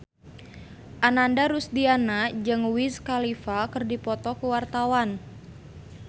Ananda Rusdiana jeung Wiz Khalifa keur dipoto ku wartawan